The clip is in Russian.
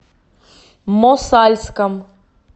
мосальском